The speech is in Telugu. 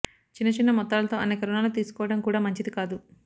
చిన్న చిన్న మొత్తాలతో అనేక రుణాలు తీసుకోవడం కూడా మంచిది కాదు